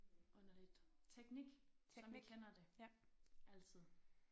Underligt teknik som vi kender det altid